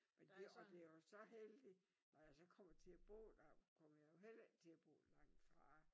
Men det og det er jo så heldigt når jeg så kommer til at bo der kommer jeg jo heller ikke til at bo langt fra